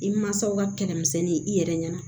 I mansaw ka kɛlɛ misɛnnin i yɛrɛ ɲɛna